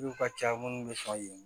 Olu ka ca minnu bɛ sɔn yen